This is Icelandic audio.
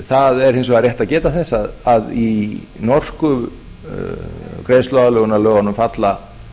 það er hins vegar rétt að geta þess að í norsku greiðsluaðlögunarlögunum falla